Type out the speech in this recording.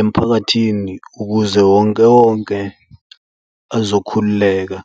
emphakathini ukuze wonke wonke azokhululeka.